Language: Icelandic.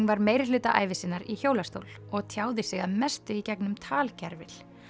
var meirihluta ævi sinnar í hjólastól og tjáði sig að mestu í gegnum talgervil